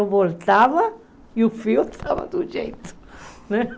Eu voltava e o fio estava do jeito né.